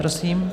Prosím.